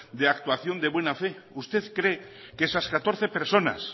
de actuación de buena fe usted cree que esas catorce personas